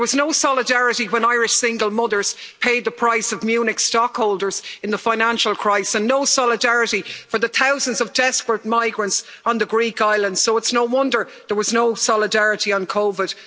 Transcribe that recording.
There was no solidarity when Irish single mothers paid the price of Munich stockholders in the financial crisis and no solidarity for the thousands of desperate migrants on the Greek island, so it's no wonder there was no solidarity on COVID.